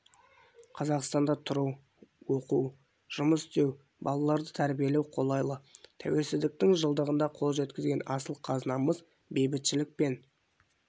қазақстанда тұру оқу жұмыс істеу балаларды тәрбиелеу қолайлы тәуелсіздіктің жылдығында қол жеткізген асыл қазынамыз бейбітшілік пен